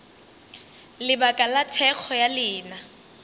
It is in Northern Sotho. lebaka la thekgo ya lena